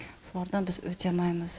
солардан біз өте алмаймыз